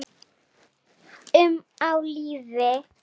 um á lífi.